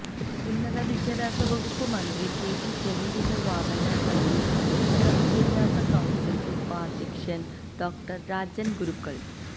ഉന്നത വിദ്യാഭ്യാസ വകുപ്പ് മന്ത്രി കെ ടി ജലീലിന്റെ വാദങ്ങൾ തള്ളി ഉന്നതവിദ്യഭ്യാസ കൌൺസിൽ ഉപാദ്ധ്യക്ഷൻ ഡോ രാജൻ ഗുരുക്കൾ